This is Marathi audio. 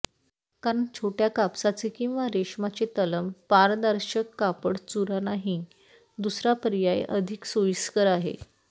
कारण छोट्या कापसाचे किंवा रेशमाचे तलम पारदर्शक कापड चुरा नाही दुसरा पर्याय अधिक सोयीस्कर आहे